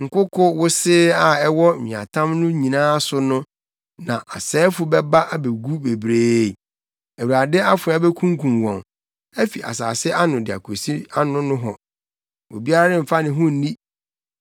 Nkoko wosee a ɛwɔ nweatam no nyinaa so no na asɛefo bɛba abegu bebree, Awurade afoa bekunkum wɔn afi asase ano de akosi ano nohɔ; obiara remfa ne ho nni.